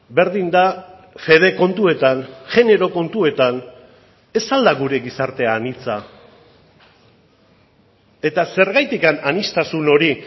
berdin da fede kontuetan genero kontuetan ez al da gure gizarte anitza eta zergatik aniztasun hori